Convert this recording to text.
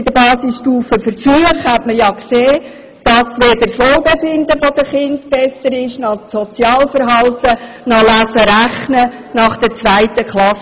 Bei den Basisstufenversuchen hat sich gezeigt, dass weder das Wohlbefinden der Kinder besser wird, noch das Sozialverhalten, noch die Fähigkeiten im Lesen und Rechnen nach der zweiten Klasse.